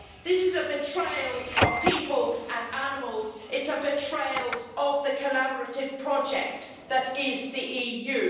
This is a betrayal of people and animals, it's a betrayal of the collaborative project that is the EU.